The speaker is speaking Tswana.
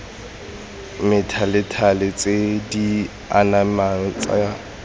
methalethale tse di anamang tsa